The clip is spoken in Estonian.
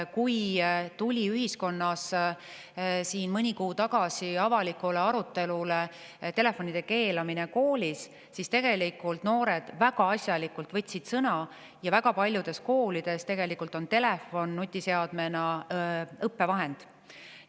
Kui ühiskonnas siin mõni kuu tagasi oli avalik arutelu koolis telefonide keelamise üle, siis noored võtsid tegelikult väga asjalikult sõna: väga paljudes koolides on telefon nutiseadmena õppevahend.